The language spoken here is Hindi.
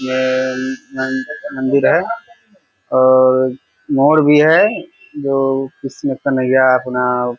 ये अम मंदिर मंदिर है और मोड़ भी है जो कृष्ण कन्हैया अपना --